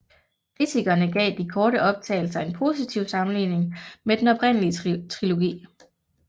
Kritikerne gav de korte optagelser en positiv sammenligning med den oprindelige trilogi